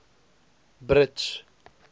brits